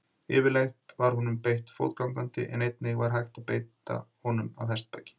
Yfirleitt var honum beitt fótgangandi en einnig var hægt að beita honum af hestbaki.